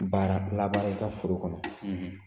Baara laban i ka foro kɔnɔ